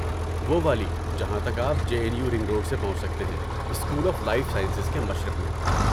وہ والی جہاں تک آپ J N U ring road سے پہنچ سکتے ہیں، اسکول آف لائف سائنسز کے مشرق میں